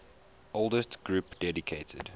oldest group dedicated